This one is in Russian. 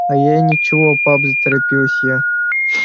а я и ничего пап заторопилась я